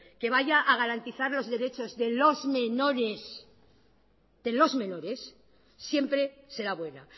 que vaya a garantizar los derechos de los menores siempre será buena